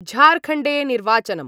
झारखण्डे निर्वाचनम्